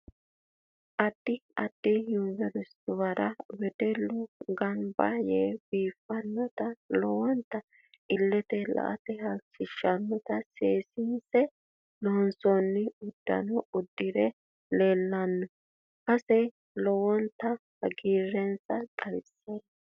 Addi addi universiteyera wedellu ganbba yee biifannota lowonta illetenno la'ate halchishannota seesinse loonsooni uddanno uddire leeelanno base lowonta hagiirensa xawissanno